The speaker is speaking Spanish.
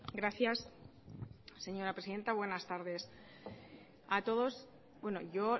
gracias señora presidenta buenas tardes a todos yo